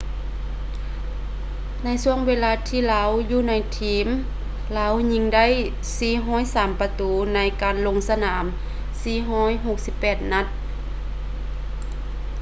ໃນຊ່ວງເວລາທີ່ລາວຢູ່ໃນທີມ ລາວຍິງໄດ້ 403 ປະຕູ ໃນການລົງສະໜາມ 468 ນັດ